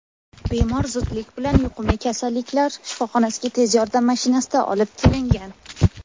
bemor zudlik bilan yuqumli kasalliklar shifoxonasiga tez yordam mashinasida olib kelingan.